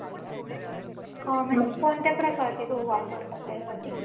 का म्हणजे कोणत्या प्रकारचे गहू वापरतात त्यासाठी?